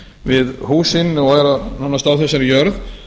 við húsin og er nánast á þessari jörð